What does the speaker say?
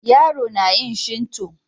yaro na yin shinto.